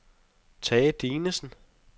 Tage Dinesen